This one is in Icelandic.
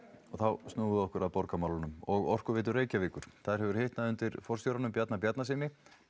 og þá snúum við okkur að borgarmálunum og Orkuveitu Reykjavíkur þar hefur hitnað undir forstjóranum Bjarna Bjarnasyni